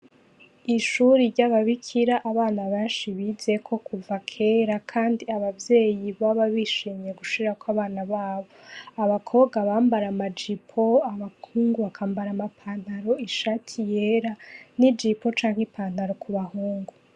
Ishure ry'ababikira abana benshi bizeko kuva kera kandi abavyeyi baba bishimye gushirako abana babo. Abakobwa bambara amajipo, abahungu bakambara ama pantaro, ishati yera n'ijpo canke ipantaro ku bahungu.